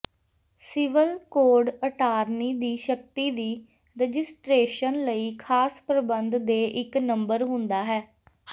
civil code attorney ਦੀ ਸ਼ਕਤੀ ਦੀ ਰਜਿਸਟਰੇਸ਼ਨ ਲਈ ਖਾਸ ਪ੍ਰਬੰਧ ਦੇ ਇੱਕ ਨੰਬਰ ਹੁੰਦਾ ਹੈ